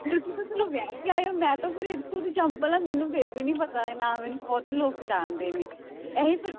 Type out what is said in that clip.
ਤੁਸੀਂ ਤੇ ਚਲੋ ਵਿਆਹ ਕੇ ਆਏ ਹੋ, ਮੈਂ ਤਾਂ ਫਿਰ ਇੱਥੋਂ ਦੀ ਜੰਮਪਲ ਹਾਂ ਮੈਨੂੰ ਫਿਰ ਵੀ ਨੀ ਪਤਾ ਹੈ, ਨਾ ਮੈਨੂੰ ਬਹੁਤੇ ਲੋਕ ਪਹਿਚਾਣਦੇ ਨੇ, ਇਹ ਹੀ ਫਿਰ